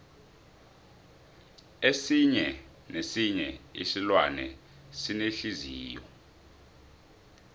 esinye nesinye isilwane sinenhliziyo